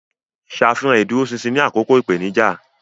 Ṣàfihàn ìdúróṣinṣin ní àkókò ìpèníjà.